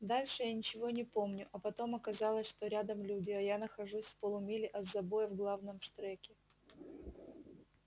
дальше я ничего не помню а потом оказалось что рядом люди а я нахожусь в полумиле от забоя в главном штреке